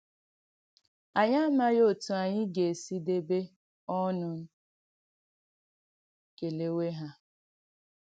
Ànyị̀ amaghì òtù ànyị̀ ga-esì dèbé ònùn kèlèwé ha.”